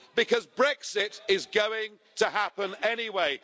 Because Brexit is going to happen anyway.